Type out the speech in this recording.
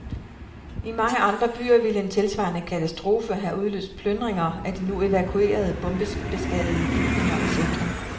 I mange andre byer ville en tilsvarende katastrofe have udløst plyndinger af de nu evakuerede, bombebeskadigede bygninger i centrum.